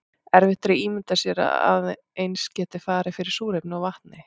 erfitt er að ímynda sér að eins gæti farið fyrir súrefni og vatni